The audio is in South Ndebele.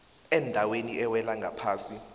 endaweni ewela ngaphasi